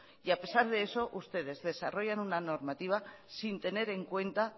y a pesar de eso ustedes desarrollan una normativa